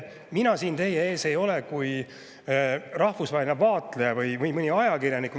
Mina siin teie ees ei ole kui rahvusvaheline vaatleja või mõni ajakirjanik.